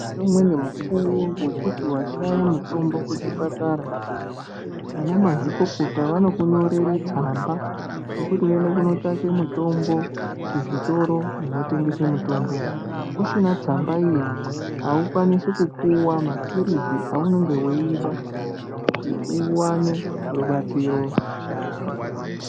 Kune umweni mukuwo wekuti washaya mutombo kuchipatara anamazvikokota vanokunyorere tsamba yekuti uende kunotsvake mutombo kuzvitoro zvinotengese mutombo, usina tsamba iyi aukwanisi kupuwa mapiritsi aunenge weida kuti uwane rubatsiro